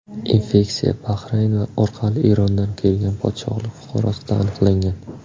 Infeksiya Bahrayn orqali Erondan kelgan podshohlik fuqarosida aniqlangan.